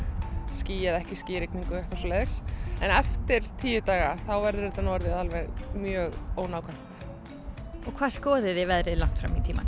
ský eða ekki ský og eitthvað svoleiðis en eftir tíu daga þá verður þetta orðið alveg mjög ónákvæmt og hvað skoðið þið veðrið langt fram í tímann